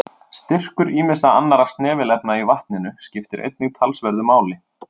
Styrkur ýmissa annarra snefilefna í vatninu skiptir einnig talsverðu máli.